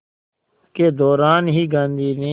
के दौरान ही गांधी ने